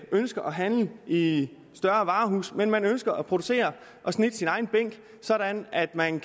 ønsker at handle i i større varehuse men ønsker at producere og snitte sin egen bænk sådan at man